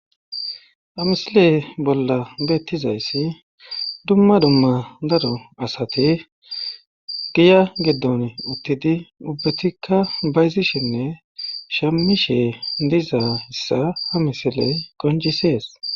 amisile bolla beettizayssi dumma dumma daro asate giya giddon uttidi ubbetikka bayzishenne shamishe diza hissa ha misile qonjisees